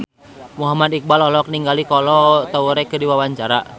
Muhammad Iqbal olohok ningali Kolo Taure keur diwawancara